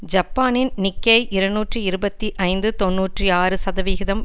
ஜப்பானின் நிக்கேய் இருநூற்றி இருபத்தி ஐந்து தொன்னூற்றி ஆறு சதவிகிதம்